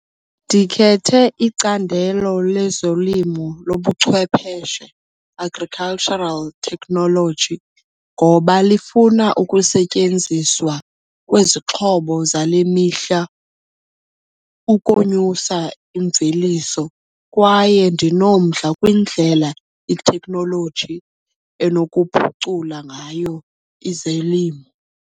Ndikhethe icandelo lezolimo lobuchwepheshe, Agricultural Technology, ngoba lifuna ukusetyenziswa kwezixhobo zale mihla ukonyusa imveliso kwaye ndinomdla kwindlela iteknoloji enokuphucula ngayo izilimo.